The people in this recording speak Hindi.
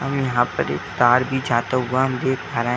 हम यहाँ पर एक तार भी जाता हुआ हम देख पा रहे हैं।